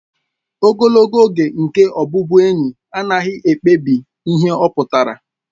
Ogologo oge nke ọbụbụenyi anaghị ekpebi ihe ọ pụtara